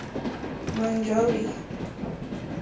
monjobi